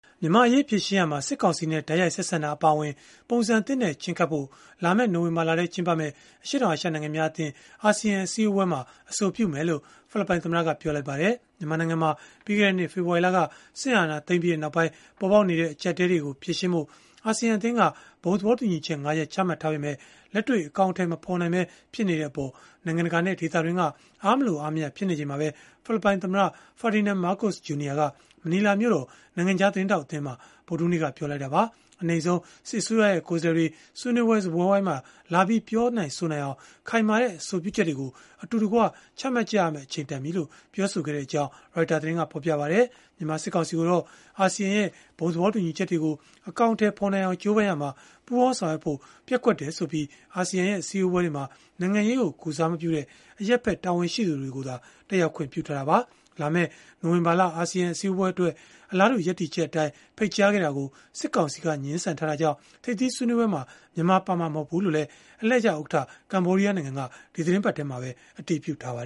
မြန်မာ့အရေး ဖြေရှင်းရာမှာ စစ်ကောင်စီနဲ့ တိုက်ရိုက် ဆက်ဆံတာ အပါအဝင် ပုံစံသစ်နဲ့ ချဉ်းကပ်ဖို့ လာမယ့် နိုဝင်ဘာလထဲ ကျင်းပမယ့် အရှေ့တောင်အာရှ နိုင်ငံများအသင်း (အာဆီယံ) အစည်းအဝေးမှာ အဆိုပြုမယ်လို့ ဖိလစ်ပိုင်သမ္မတက ပြောလိုက်ပါတယ်။ မြန်မာနိုင်ငံမှာ ပြီးခဲ့တဲ့နှစ် ဖေဖော်ဝါရီလက စစ်အာဏာသိမ်းပြီးနောက်ပိုင်း ပေါ်ပေါက်နေတဲ့ အကျပ်အတည်းတွေကို ဖြေရှင်းဖို့ အာဆီယံက ဘုံသဘောတူညီချက် ၅ ရပ် ချမှတ်ထားပေမဲ့ လက်တွေ့အကောင်အထည် မဖော်နိုင်ပဲ ဖြစ်နေတဲ့အပေါ် နိုင်ငံတကာနဲ့ ဒေသတွင်းက အားမလိုမရ ဖြစ်နေချိန်မှာပဲ ဖိလစ်ပိုင်သမ္မတ Ferdinand Marcos Jr က မနီလာမြို့တော် နိုင်ငံခြားသတင်းထောက်အသင်းမှာ ဗုဒ္ဓဟူးနေ့က ပြောလိုက်တာပါ။ အနိမ့်ဆုံးအနေနဲ့ စစ်အစိုးရရဲ့ ကိုယ်စားလှယ်တွေ ဆွေးနွေးပွဲ စားပွဲဝိုင်းမှာလာပြီး ပြောနိုင်ဆိုနိုင်အောင် ခိုင်မာတဲ့ အဆိုပြုချက်တွေကို အတူတကွ ချမှတ်ရမယ့် အချိန်တန်ပြီလို့ ပြောခဲ့ကြောင်းလည်း Reuters သတင်းကဖော်ပြပါတယ်။ မြန်မာစစ်ကောင်စီကိုတော့ အာဆီယံရဲ့ ဘုံသဘောတူညီချက်တွေကို အကောင်အထည်ဖော်နိုင်အောင် ကြိုးပမ်းရာမှာ ပူးပေါင်းဆောင်ရွက်ဖို့ ပျက်ကွက်တယ်ဆိုပြီး အာဆီယံရဲ့ အစည်းအဝေးတွေမှာ နိုင်ငံရေးကို ကိုယ်စားမပြုတဲ့ အရပ်ဖက်တာဝန်ရှိသူတွေကိုသာ တက်ရောက်ခွင့် ပြုထားတာပါ။ လာမယ့် နိုဝင်ဘာလ အာဆီယံ အစည်းအဝေးပွဲတွေအတွက် အလားတူ ရပ်တည်ချက်အတိုင်း ဖိတ်ကြားထားတာကို စစ်ကောင်စီက ငြင်းဆန်ထားတာကြောင့် ထိပ်သီးဆွေးနွေးပွဲမှာ မြန်မာပါဝင်မှာ မဟုတ်ဘူးလို့လည်း အလှည့်ကျဥက္ကဋ္ဌ ကမ္ဘောဒီးယား နိုင်ငံက ဒီသီတင်းပတ်ထဲမှာပဲ အတည်ပြုထားပါ